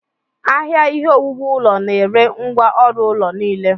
Ahịa Ihe owuwu ụlọ na-ere ngwá ọrụ ụlọ niile.